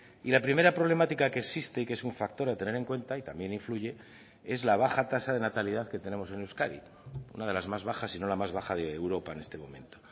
y la primera problemática que existe y que es un factor a tener en cuenta y también influye es la baja tasa de natalidad que tenemos en euskadi una de las más bajas sino la más baja de europa en este momento